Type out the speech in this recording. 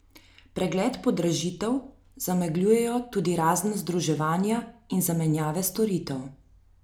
Pregled podražitev zamegljujejo tudi razna združevanja in zamenjave storitev.